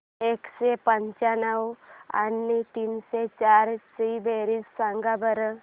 एकशे पंच्याण्णव आणि तीनशे चार ची बेरीज सांगा बरं